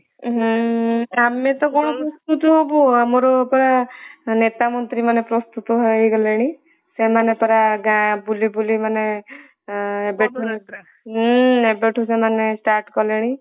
ହୁଁ ଆମେ ତ କଣ ପ୍ରସ୍ତୁତ ହାବୁ ଆମର ପା ନେତା ମନ୍ତ୍ରୀ ମାନେ ପ୍ରସ୍ତୁତ ହେଇଗଲେଣି । ସେମାନେ ପରା ଗାଁ ବୁଲି ବୁଲି ମାନେ ଏଁ ହୁଁ ଏବେଠୁ ସେମାନେ start କଲେଣି